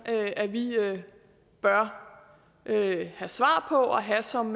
at vi bør have svar på og have som